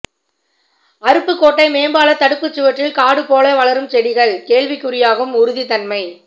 அருப்புக்கோட்டை மேம்பாலத் தடுப்புச்சுவற்றில் காடு போல வளரும் ெசடிகள் கேள்விக்குறியாகும் உறுதித்தன்மை